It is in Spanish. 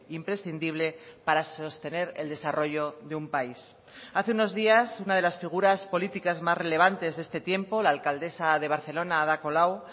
imprescindible para sostener el desarrollo de un país hace unos días una de las figuras políticas más relevantes de este tiempo la alcaldesa de barcelona ada colau